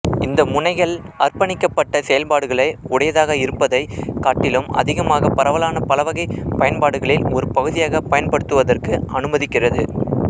இந்த முனைகள் அர்ப்பணிக்கப்பட்ட செயல்பாடுகளை உடையதாக இருப்பதைக் காட்டிலும் அதிகமாக பரவலான பலவகைப் பயன்பாடுகளில் ஒரு பகுதியாக பயன்படுத்துவதற்கு அனுமதிக்கிறது